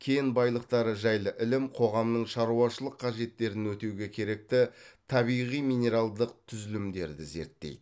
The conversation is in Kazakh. кен байлықтары жайлы ілім қоғамның шаруашылық қажеттерін өтеуге керекті табиғи минералдық түзілімдерді зерттейді